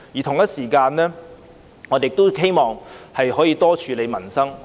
同時，我亦希望能夠多處理民生問題。